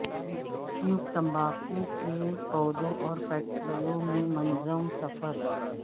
cube تمباکو کے پودوں اور فیکٹریوں میں منظم سفر